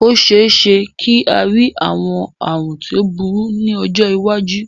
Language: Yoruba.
Ó ṣeéṣe kí a rí àwọn àrùn tí ó burú ní ọjọ́ iwájú